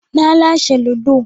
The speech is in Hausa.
Na lashe ludo